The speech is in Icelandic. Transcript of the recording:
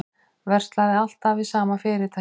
Verslaði alltaf við sama fyrirtækið